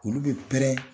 Olu bɛ pɛrɛn